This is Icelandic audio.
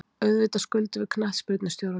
Auðvitað skuldum við knattspyrnustjóranum.